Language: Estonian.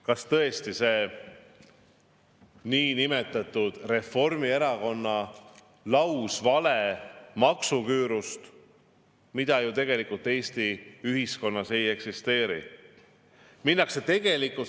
Kas tõesti see Reformierakonna lausvale niinimetatud maksuküürust, mida Eesti ühiskonnas tegelikult ju ei eksisteeri?